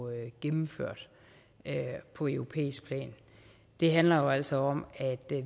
gennemført på europæisk plan det handler jo altså om at